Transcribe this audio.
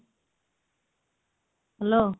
hello